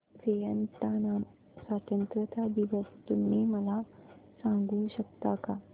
Vietnam स्वतंत्रता दिवस तुम्ही मला सांगू शकता का